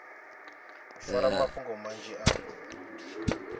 u fara mafhungo manzhi a